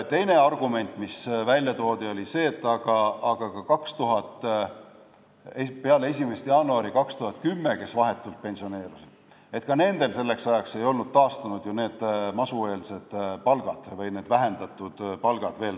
Teine argument, mis välja toodi, oli see, et ka nendel, kes pensioneerusid vahetult peale 1. jaanuari 2010, ei olnud selleks ajaks ju täielikult taastunud masueelsed palgad, mida oli vähendatud.